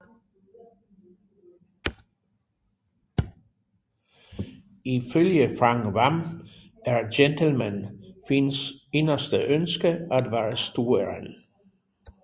Ifølge Frank Hvam er Gentleman Finns inderste ønske at være stueren